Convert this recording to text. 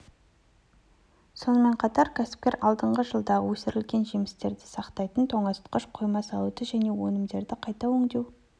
сонымен қатар кәсіпкер алдағы жылдары өсірілген жемістерді сақтайтын тоңазытқыш қойма салуды және өнімдерді қайта өңдеу